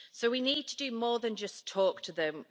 So we need to do more than just talk to them.